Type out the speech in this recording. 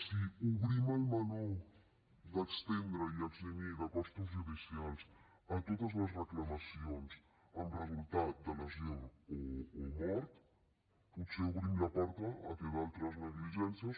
si obrim el meló d’estendre i eximir de costos judicials a totes les reclamacions amb resultat de lesió o mort potser obrim la porta al fet que d’altres negligències